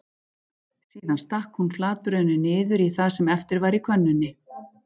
Síðan stakk hún flatbrauðinu niður í það sem eftir var í könnunni.